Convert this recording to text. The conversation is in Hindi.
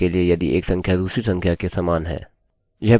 यह प्रोग्राम के लिए एक अत्यंत नासमझ एप्लीकेशन है